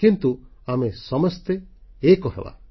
କିନ୍ତୁ ଆମେ ସମସ୍ତେ ଏକ ହେବା